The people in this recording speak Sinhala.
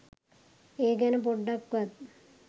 ඒ ගැන පොඩ්ඩක්වත්